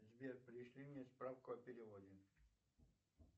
сбер пришли мне справку о переводе